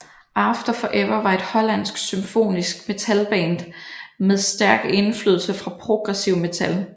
After Forever var et hollandsk symfonisk metal band med stærk indflydelse fra progressiv metal